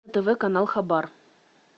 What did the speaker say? тв канал хабар